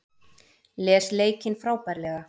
Les leikinn frábærlega